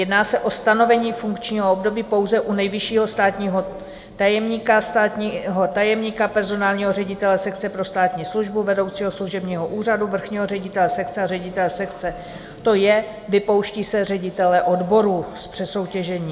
Jedná se o stanovení funkčního období pouze u nejvyššího státního tajemníka, státního tajemníka, personálního ředitele sekce pro státní službu, vedoucího služebního úřadu, vrchního ředitele sekce a ředitele sekce, to je, vypouští se ředitelé odborů z přesoutěžení.